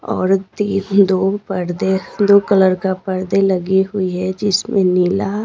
और तीन दो पर्दे दो कलर का पर्दे लगी हुई है जिसमें नीला--